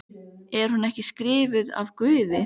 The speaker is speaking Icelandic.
Er hún ekki skrifuð af Guði?